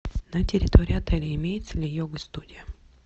на территории отеля имеется ли йога студия